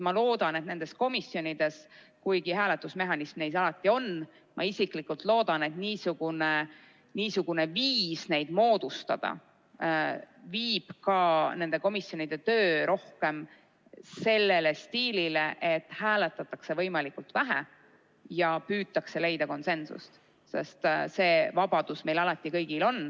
Ma loodan, et kuigi nendes komisjonides hääletusmehhanism alati on, viib ka niisugune moodustusviis nende komisjonide töö rohkem sellise stiili juurde, et hääletatakse võimalikult vähe ja püütakse leida konsensust.